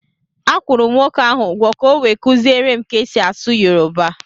Akwụrụ m nwoke ahụ ụgwọ ka o wee kuziere m ka e si asụ yoruba